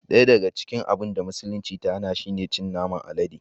Daya daga cikin abun da musulunci ta hana shi ne cin naman alade